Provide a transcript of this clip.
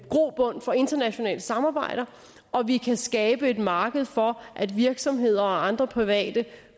grobund for internationale samarbejder og vi kan skabe et marked for at virksomheder og andre private